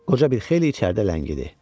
Qoca bir xeyli içəridə ləngidi.